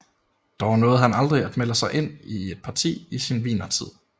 Dog nåede han aldrig at melde sig ind i et parti i sin wienertid